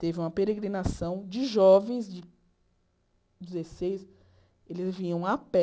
Teve uma peregrinação de jovens de dezesseis, eles vinham a pé.